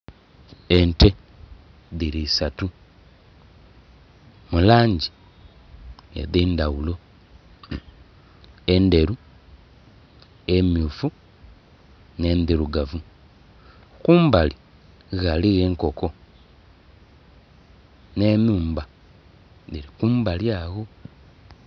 Ente dhiri isatu, mu langi edendaghulo, enderu, emyufu, n'endirugavu, kumbali ghaligho enkoko n'enhumba dhili kumbali agho.